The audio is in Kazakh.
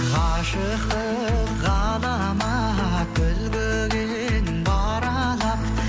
ғашықтық ғаламат өлеңмен баралап